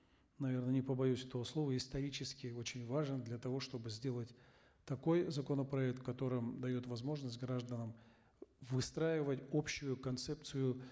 наверно не побоюсь этого слова исторически очень важен для того чтобы сделать такой законопроект который дает возможность гражданам выстраивать общую концепцию